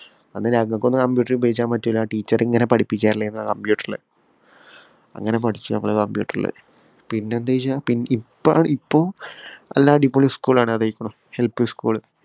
അന്ന് ഞങ്ങക്കൊന്നും computer ഉപയോഗിക്കാന്‍ പറ്റിയില്ല. ആ teacher ഇങ്ങനെ പഠിപ്പിക്ക computer ഇല്. അങ്ങനെ പഠിച്ചു നമ്മള് computer ഇല്. പിന്നെ എന്ത് ചെയ്യൂന്ന് വച്ചാ ഇപ്പ ഇപ്പം നല്ല അടിപൊളി school ആണ്. LPschool